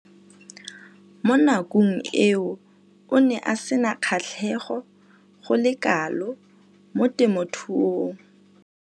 Mo nakong eo o ne a sena kgatlhego go le kalo mo temothuong.